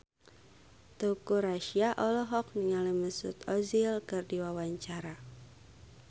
Teuku Rassya olohok ningali Mesut Ozil keur diwawancara